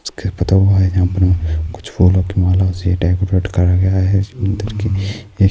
کچھ پھولوں کی مالا اس سے ڈیکوریٹ کیا گیا ہے اس مندر کی